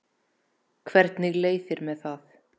Hvernig leið þér með það?